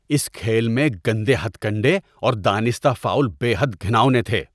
‏اس کھیل میں گندے ہتھکنڈے اور دانستہ فاؤل بے حد گھناونے تھے۔